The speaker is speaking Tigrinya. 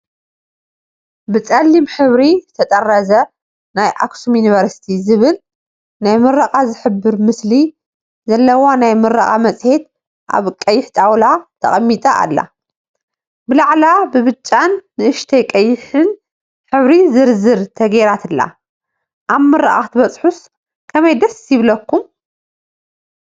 ብፀሊም ሕብሪ ዝተጠረዘ ናይ "ኣክሱም ዩኒቨርስቲ" ዝብል ናይ ምረቓ ዝሕብር ምስሊ ዘለዋ ናይ ምረቓ መፅሄት ኣብ ቀይሕ ጣውላ ተቐሚጣ ኣላ፡፡ ብላዕላ ብብጫን ንእሽተይ ቀይሕን ሕብሪ ዘረዝ ተገይራትላ፡፡ ኣብ ምርቓ ክትበፅሑስ ከመይ ደስ ይብለኩም?